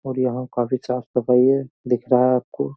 और यहाँ काफी साफ़ सफाई है। दिख रहा है आपको।